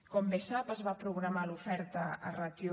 com bé sap es va programar l’oferta a ràtio